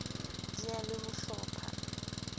di na le ho hlopha